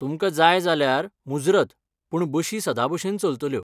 तुमकां जाय जाल्यार, मुजरत, पूण बशी सदांभशेन चलतल्यो.